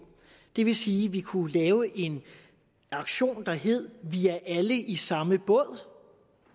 det vil sige at vi kunne lave en aktion der hed vi er alle i samme båd